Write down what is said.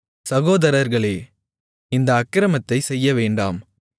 சகோதரர்களே இந்த அக்கிரமத்தைச் செய்யவேண்டாம்